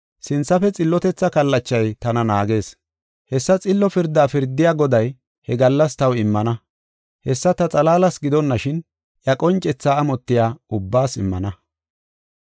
Sinthafe xillotetha kallachay tana naagees. Hessa xillo pirdaa pirdiya Goday he gallas taw immana. Hessa ta xalaalas gidonashin, iya qoncethaa amotiya ubbaas immana.